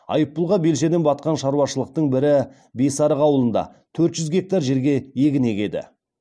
айыппұлға белшеден батқан шаруашылықтың бірі бесарық ауылында төрт жүз гектар жерге егін егеді